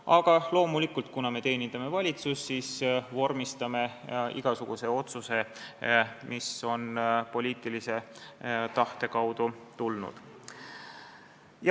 Aga loomulikult, kuna me teenindame valitsust, siis me vormistame igasuguse otsuse, mis on poliitilise tahte kaudu tulnud.